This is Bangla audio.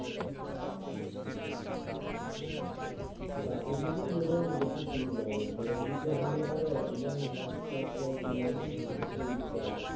রাতের দিকেই বোধ হয় বেশি সুবিধা হবে ভোরের দিকে হলে পরে একদম মাঝরাতে আরকি ঘুম থেকে উঠতে হবে।